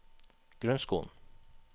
grunnskolen